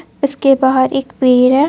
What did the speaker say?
इसके बाहर एक पेड़ है.